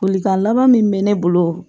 Bolikan laban min bɛ ne bolo